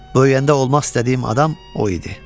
Böyüyəndə olmaq istədiyim adam o idi.